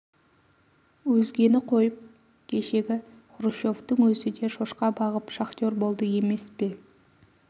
өзгені қойып кешегі хрущевтің өзі де шошқа бағып шахтер болды емес пе